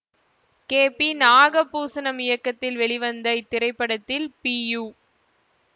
K P Nagabhushanam இயக்கத்தில் வெளிவந்த இத்திரைப்படத்தில் பி யு